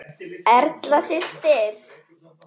Erla systir.